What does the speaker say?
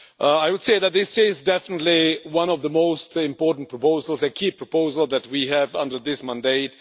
I would say that this is definitely one of the most important proposals, a key proposal, that we have under this mandate.